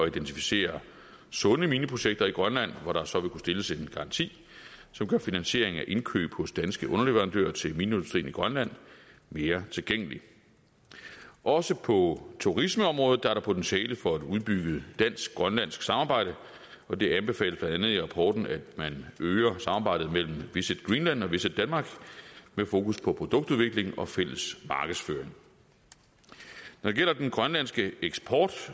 identificere sunde mineprojekter i grønland hvor der så vil kunne stilles en garanti som gør finansieringen af indkøb hos danske underleverandører til mineindustrien i grønland mere tilgængelig også på turismeområdet er der potentiale for et udbygget dansk grønlandsk samarbejde og det anbefales blandt andet i rapporten at man øger samarbejdet mellem visit greenland og visitdenmark med fokus på produktudvikling og fælles markedsføring når det gælder den grønlandske eksport